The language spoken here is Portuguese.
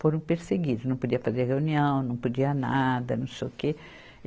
Foram perseguidos, não podia fazer reunião, não podia nada, não sei o quê.